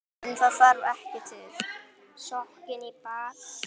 En það þarf ekki til.